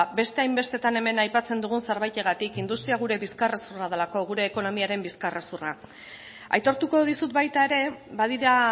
beste hainbestetan hemen aipatzen dugun zerbaitegatik industria gure bizkarrezurra delako gure ekonomiaren bizkarrezurra aitortuko dizut baita ere badira